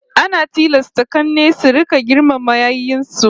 Ana tilasta k'anne su rika girmama yayyen su